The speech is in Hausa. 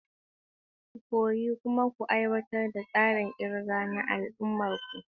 Ku koyi kuma ku aiwatar da tsarin kirga na al'ummar ku.